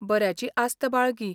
बऱ्याची आस्त बाळगी.